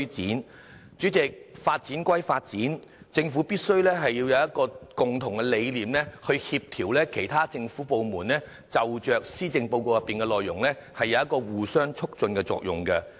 代理主席，發展歸發展，政府必須有共同理念去協調其他政府部門，就施政報告內容有互相促進的作用。